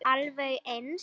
Alveg eins!